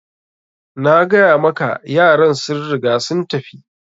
Nagaya maka yaran sun riga sun tafi.